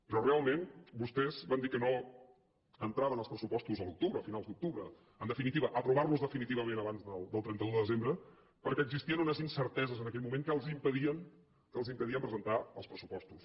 però realment vostès van dir que no entraven els pressupostos a l’octubre a finals d’octubre en definitiva per aprovar los definitivament abans del trenta un de desembre perquè existien unes incerteses en aquell moment que els impedien que els impedien presentar els pressupostos